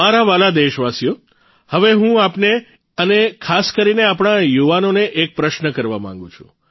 મારા વ્હાલા દેશવાસીઓ હવે હું આપને અને ખાસ કરીને આપણા યુવાઓને એક પ્રશ્ન કરવા માંગું છું